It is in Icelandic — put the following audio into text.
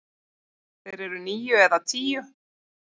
Þeir eru níu eða tíu.